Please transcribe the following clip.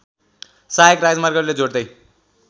साहायक राजर्मागले जोड्दै